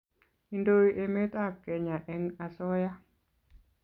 indoi emet ab kenya eng asoya